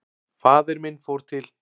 Faðir minn fór til